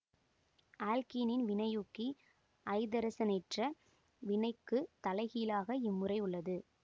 ஆல்க்கீனின் வினையூக்கி ஐதரசனேற்ற வினைக்கு தலைகீழாக இம்முறை உள்ளது